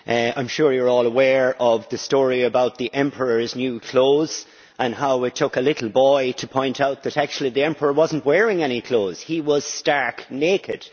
I am sure you are all aware of the story about the emperor's new clothes and how it took a little boy to point out that actually the emperor was not wearing any clothes he was stark naked.